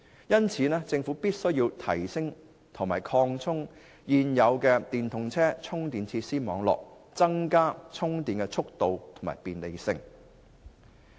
因此，政府必須提升及擴充現有的電動車充電設施網絡，令充電更方便快捷。